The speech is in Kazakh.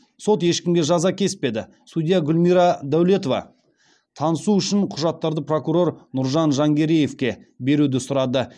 сот ешкімге жаза кеспеді судья гүлмира дәулетова танысу үшін құжаттарды прокурор нұржан жангереевке беруді сұрады